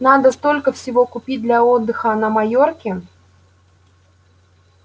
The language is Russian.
надо столько всего купить для отдыха на майорке